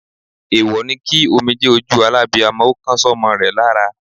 Èwọ̀ ni kí omijé ojú alábiamo ó kan sómo rè lára